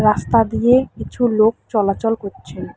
রাস্তা দিয়ে কিছু লোক চলাচল করছে।